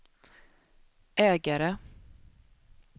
ägare